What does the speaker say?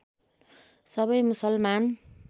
सबै मुसलमान